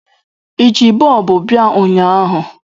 I ji bọlbụ bia ụnyahụ?